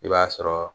I b'a sɔrɔ